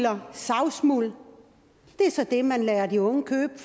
og savsmuld det er så det man lader de unge købe